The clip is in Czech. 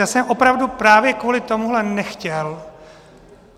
Já jsem opravdu právě kvůli tomuhle nechtěl.